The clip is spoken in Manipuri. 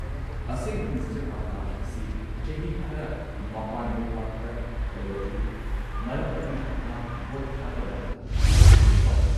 ꯑꯁꯦꯡꯕ ꯃꯤꯁꯇꯔ ꯑꯥꯀꯥꯁ ꯑꯁꯤ ꯆꯍꯤ ꯈꯔ ꯃꯄꯥꯟ ꯂꯩꯕꯥꯛꯇ ꯂꯩꯔꯛꯂꯤ, ꯃꯔꯝ ꯑꯗꯨꯅ ꯃꯍꯥꯛ ꯚꯣꯠ ꯊꯥꯗꯕ ꯂꯥꯛꯇꯦ, ꯆꯨꯝꯃꯤꯀꯣ?